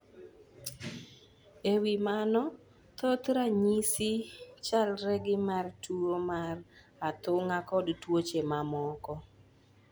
E wi mano, thoth ranyisi chalre gi mar tuwo mar athung'a kod tuoche mamoko.